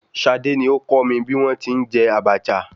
Ṣadé ni ó kọ́ mi bí wọn ti ń jẹ Abacha.